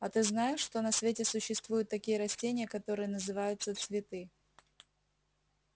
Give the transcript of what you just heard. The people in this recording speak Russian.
а ты знаешь что на свете существуют такие растения которые называются цветы